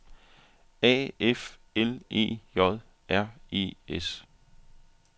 A F L E J R E S